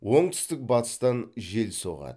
оңтүстік батыстан жел соғады